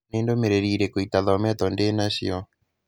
Nĩ ndũmĩrĩri irĩkũ itathometwo ndĩ na cio?